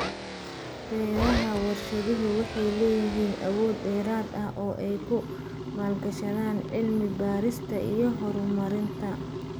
Beeraha warshaduhu waxay leeyihiin awood dheeraad ah oo ay ku maalgashadaan cilmi-baarista iyo horumarinta.